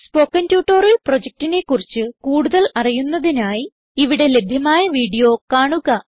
spoken tutorial പ്രൊജക്റ്റിനെ കുറിച്ച് കൂടുതൽ അറിയുന്നതിനായി ഇവിടെ ലഭ്യമായ വീഡിയോ കാണുക